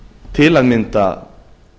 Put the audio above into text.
til að mynda